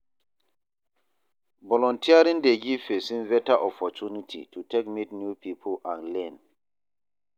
Volunteering dey giv pesin beta opportunity to take meet new pipo and learn.